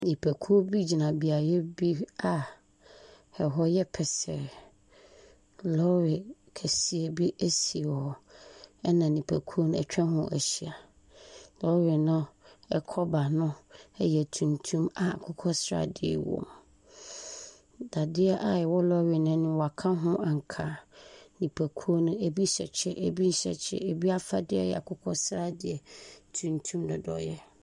Nnipakuw bi gyina beae bi a ɛhɔ yɛ pɛsɛɛ. Lɔre kɛseɛ bi esi hɔ. Ɛna nnipakuo no etwa ho ahyia. Lɔre no ɛkɔba no ɛyɛ tuntum a akokɔsradeɛ wom. Dadeɛ a ɛwɔ lɔre n'anim no woaka ho ankaa. Nnipakuo no ebi hyɛ kyɛ. Ebi nhyɛ kyɛ. Ebi afadeɛ yɛ akokɔsradeɛ, tuntum, dodoeɛ.